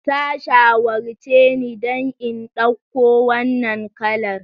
Ta shawarce ni da in dauko wannan kalar.